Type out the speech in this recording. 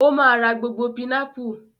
Ó máa ra gbogbo pinápù.